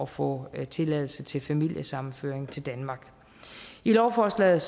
få tilladelse til familiesammenføring til danmark i lovforslaget